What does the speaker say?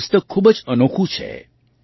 આ પુસ્તક ખૂબ જ અનોખું છે